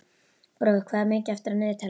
Brói, hvað er mikið eftir af niðurteljaranum?